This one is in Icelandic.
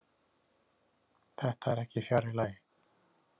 Þetta er ekki fjarri lagi.